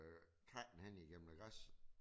Træk den hen igennem noget græs